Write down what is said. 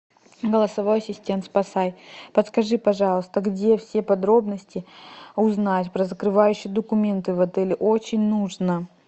голосовой ассистент спасай подскажи пожалуйста где все подробности узнать про закрывающие документы в отеле очень нужно